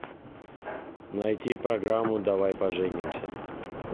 найти программу давай поженимся